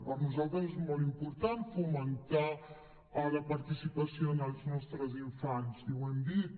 per nosaltres és molt important fomentar la participació en els nostres infants i ho hem dit